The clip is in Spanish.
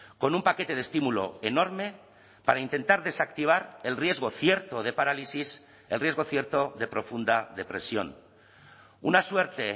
con un paquete de estímulo enorme para intentar desactivar el riesgo cierto de parálisis el riesgo cierto de profunda depresión una suerte